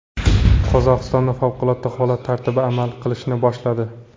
Qozog‘istonda favqulodda holat tartibi amal qilishni boshladi.